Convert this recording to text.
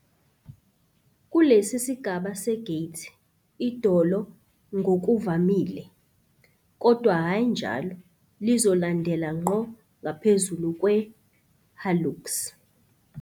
Kulesi sigaba se-gait, idolo ngokuvamile, kodwa hhayi njalo, lizolandela ngqo ngaphezulu kwe- hallux.